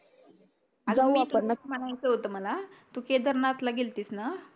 म्हणायचं होतं मला तू केदारनाथला गेलतीस ना